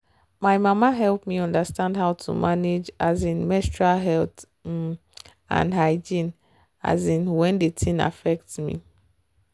my mama help me understand how to manage um menstrual health um and hygiene um when the thing affect me.